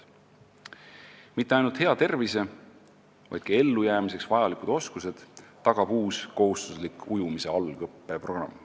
Mitte ainult hea tervise, vaid ka ellujäämiseks vajalikud oskused tagab uus kohustuslik ujumise algõppe programm.